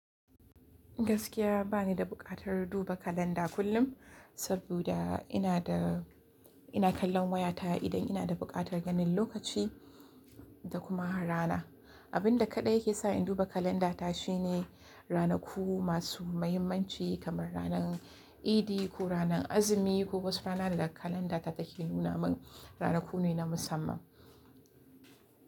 Gaskiya ba ni da buƙatar duba kalanda kullum, saboda ina da, ina kallon wayata idan ina da buƙatar ganin lokaci da kuma rana. Abin da kaɗai ke sa in duba kalanda ta shine ranaku masu muhimmanci kamar ranan Abin da kaɗai ke sa in duba kalanda ta shine.